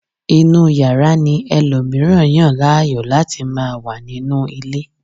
inú yàrá ni ẹlòmíràn yàn láàyò láti ma wà nínú ilé